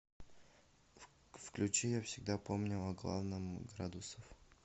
включи я всегда помню о главном градусов